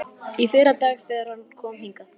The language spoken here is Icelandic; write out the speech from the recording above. Í fyrradag, þegar hann kom hingað.